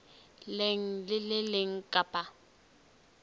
leng le le leng kapa